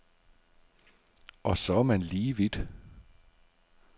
Og så er man lige vidt.